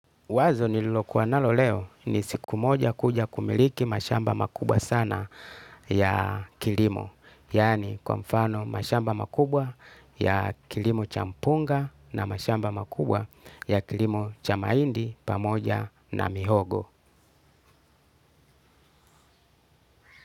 Wazo nililokuwa nalo leo ni siku moja kuja kumiliki mashamba makubwa sana ya kilimo. Yani kwa mfano mashamba makubwa ya kilimo cha mpunga na mashamba makubwa ya kilimo cha mahindi pamoja na mihogo.